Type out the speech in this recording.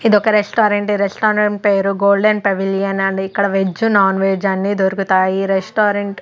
ఇదొక రెస్టారెంట్ ఈ రెస్టారెంట్ పేరు గోల్డెన్ పెవిలియన్ ఇక్కడ వెజ్ నాన్ వెజ్ అన్ని దొరుకుతాయి ఈ రెస్టారెంట్ --